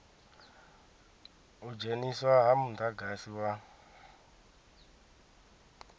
u dzheniswa ha mudagasi wa